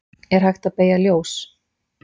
er hægt að beygja ljós